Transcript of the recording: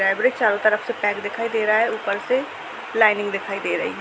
यह ब्रिज चारों तरफ से पैक दिखाई दे रहा है ऊपर से लाइनिंग दिखाई दे रही है।